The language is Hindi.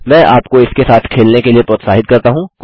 मैं आपको इसके साथ खेलने के लिए प्रोत्साहित करता हूँ